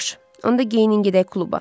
Yaxşı, onda geyinin gedək kluba.